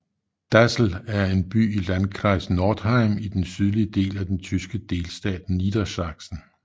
Dassel er en by i Landkreis Northeim i den sydlige del af den tyske delstat Niedersachsen